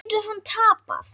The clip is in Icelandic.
Getur hann tapað!